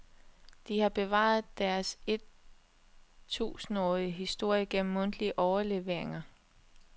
De har bevaret deres et tusindårige historie gennem mundtlige overleveringer.